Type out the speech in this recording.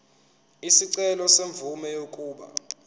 isicelo semvume yokuba